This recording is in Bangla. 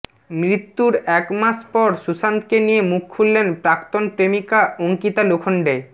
মৃত্যুর এক মাস পর সুশান্তকে নিয়ে মুখ খুললেন প্রাক্তন প্রেমিকা অঙ্কিতা লোখন্ডে